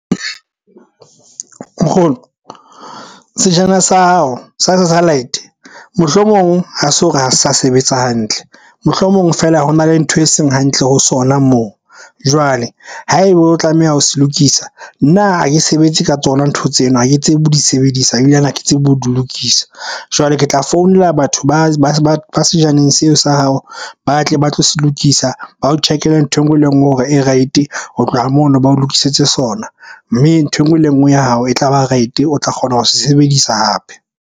Nkgono, sejana sa hao sa satellite mohlomong ha se hore ha se sa sebetsa hantle. Mohlomong feela hona le ntho e seng hantle ho sona moo. Jwale ha ebe o tlameha ho se lokisa, nna ha ke sebetse ka tsona ntho tseno, ha ke tsebe ho di sebedisa ebilane ha ke tsebe ho di lokisa. Jwale ke tla founela batho ba sejaneng seo sa ya hao ba tle ba tlo se lokisa, ba o check-ele nthwe nngwe le enngwe hore e right-e. Ho tloha mono ba o lokisetse sona, mme ntho enngwe le enngwe ya hao e tla ba right-e. O tla kgona ho se sebedisa hape.